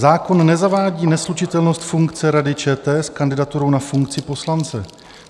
Zákon nezavádí neslučitelnost funkce Rady ČT s kandidaturou na funkci poslance.